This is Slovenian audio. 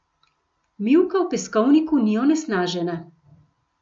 Mivka v peskovniku ni onesnažena.